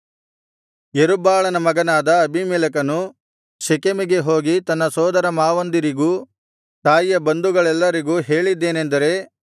ಯೆರುಬ್ಬಾಳನ ಮಗನಾದ ಅಬೀಮೆಲೆಕನು ಶೆಕೆಮಿಗೆ ಹೋಗಿ ತನ್ನ ಸೋದರಮಾವಂದಿರಿಗೂ ತಾಯಿಯ ಬಂಧುಗಳೆಲ್ಲರಿಗೂ ಹೇಳಿದ್ದೇನೆಂದರೆ